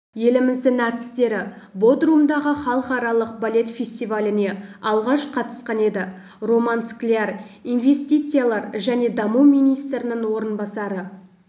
еліміздің әртістері бодрумдағы халықаралық балет фестиваліне алғаш қатысқан еді роман скляр инвестициялар және даму министрінің орынбасары